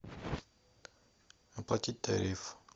оплатить тариф